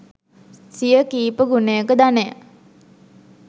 සිය කීප ගුණයක ධනය